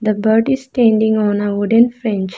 The bird is standing on a wooden fench .